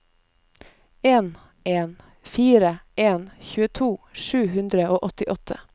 en en fire en tjueto sju hundre og åttiåtte